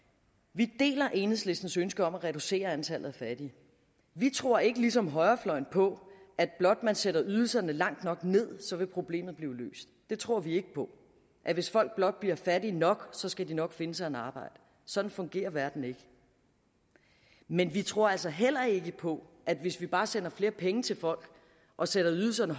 vi deler enhedslistens ønske om at reducere antallet af fattige vi tror ikke ligesom højrefløjen på at blot man sætter ydelserne langt nok ned så vil problemet blive løst vi tror ikke på at hvis folk blot bliver fattige nok så skal de nok finde sig et arbejde sådan fungerer verden ikke men vi tror altså heller ikke på at hvis vi bare sender flere penge til folk og sætter ydelserne